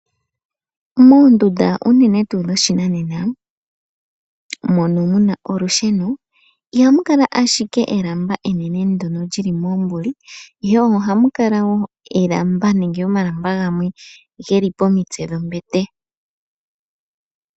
Moondunda unene tuu dhoshinanena mono muna olusheno, ihamu kala ashike elamba enene ndono lyi li moombuli, ihe ohamu kala wo oolamba nenge omalamba gamwe ge li pomitse dhombete.